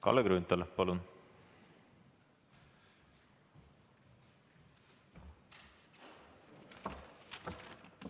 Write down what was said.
Kalle Grünthal, palun!